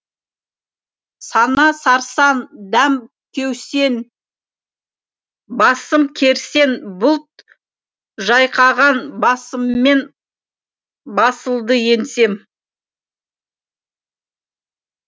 сана сарсаң дәм кеусен басым керсен бұлт жайқаған басыммен басылды еңсем